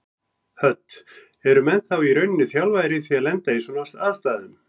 Hödd: Eru menn þá í rauninni þjálfaðir í því að lenda í svona aðstæðum?